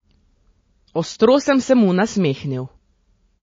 Ostro sem se mu nasmehnil.